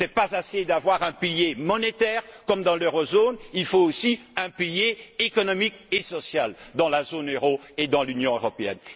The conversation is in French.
Ce n'est pas assez d'avoir un pilier monétaire comme dans la zone euro, il faut aussi un pilier économique et social dans la zone euro et dans l'Union européenne.